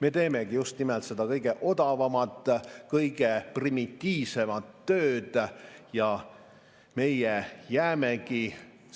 Me teemegi just nimelt seda kõige odavamat, kõige primitiivsemat tööd ja meie jäämegi